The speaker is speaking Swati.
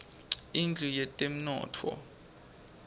indlu yetemnotfo